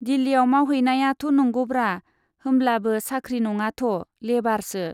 दिल्लीयाव मावहैनायाथ' नंगौब्रा, होमब्लाबो साख्रि नङाथ', लेबारसो।